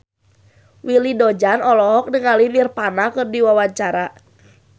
Willy Dozan olohok ningali Nirvana keur diwawancara